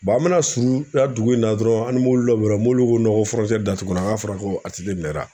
an bɛna surun a dugu in na dɔrɔn an bɛ mobili dɔ bɛnna mobili ko ko datugura k'a fɔra ka ATT minɛna